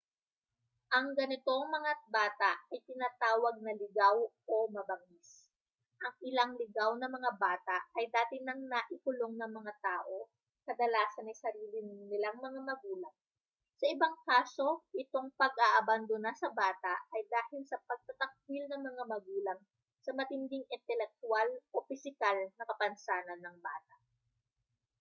ang ganitong mga bata ay tinatawag na ligaw o mabangis. ang ilang ligaw na mga bata ay dati nang naikulong ng mga tao kadalasan ay sarili nilang mga magulang; sa ibang kaso itong pag-aabandona sa bata ay dahil sa pagtatakwil ng mga magulang sa matinding intelektwal o pisikal na kapansanan ng bata